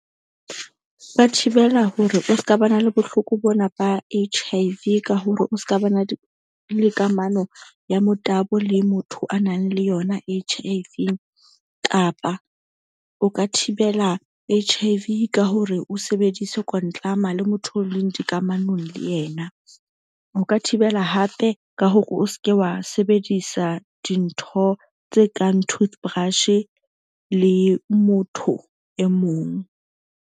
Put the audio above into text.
Ho thibela hore o ska ba na le bohloko bona, ba H_I_V ka hore o ska ba na le kamano ya motabo le motho a nang le yona H I V. Kapa o ka thibela H_I_V ka hore o sebedise kwantlama le motho o leng dikamanong le yena. O ka thibela hape ka hore o ske wa sebedisa dintho tse kang toothbrush-e le motho e mong.